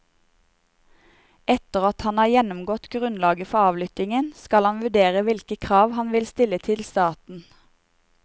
Etter at han har gjennomgått grunnlaget for avlyttingen, skal han vurdere hvilke krav han vil stille til staten.